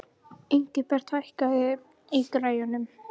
Ingibert, hækkaðu í græjunum.